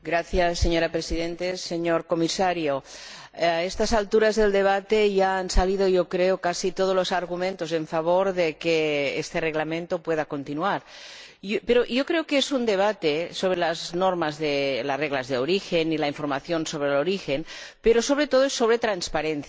Señora Presidenta, señor Comisario, a estas alturas del debate ya han salido casi todos los argumentos en favor de que este Reglamento pueda continuar, pero yo creo que este es un debate sobre las reglas de origen y la información sobre el origen, pero, sobre todo, sobre transparencia.